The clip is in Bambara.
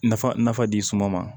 Nafa nafa di suma ma